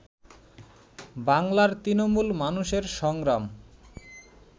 বাংলার তৃণমূল মানুষের সংগ্রাম